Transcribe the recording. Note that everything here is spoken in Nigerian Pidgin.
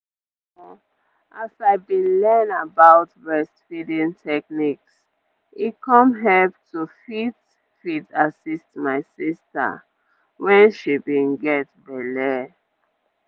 omo as i bin learn about breastfeeding techniques e come help to fit fit assist my sister when she bin get belle.